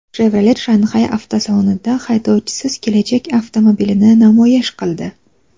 Chevrolet Shanxay avtosalonida haydovchisiz kelajak avtomobilini namoyish qildi .